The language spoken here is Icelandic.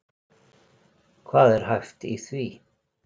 Hvað er hæft í því?